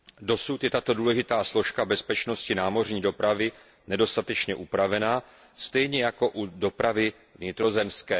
Dosud je tato důležitá složka bezpečnosti námořní dopravy nedostatečně upravena stejně jako u dopravy vnitrozemské.